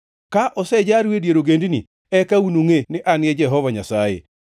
Ka osejaru e dier ogendini, eka unungʼe ni An e Jehova Nyasaye.’ ”